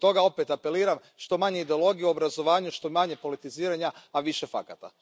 I zbog toga opet apeliram, što manje ideologije u obrazovanju, što manje politiziranja, a više fakata.